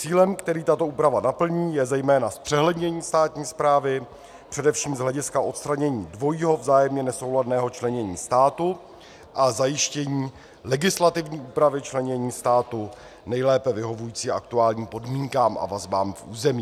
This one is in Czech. Cílem, který tato úprava naplní, je zejména zpřehlednění státní správy především z hlediska odstranění dvojího vzájemně nesouladného členění státu a zajištění legislativní úpravy členění státu nejlépe vyhovujícím aktuálním podmínkám a vazbám k území.